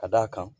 Ka d'a kan